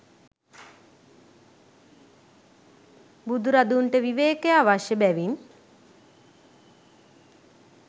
බුදුරදුන්ට විවේකය අවශ්‍ය බැවින්